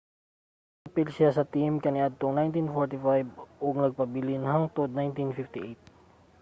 miapil siya sa team kaniadtong 1945 ug nagpabilin hangtod 1958